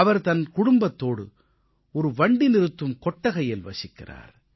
அவர் தனது குடும்பத்தோடு ஒரு வண்டி நிறுத்தும் கொட்டகையில் வசிக்கிறார்